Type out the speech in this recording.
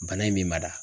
Bana in me mada